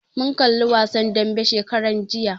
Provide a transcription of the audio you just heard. Mun kalli wasan dambe shekaran jiya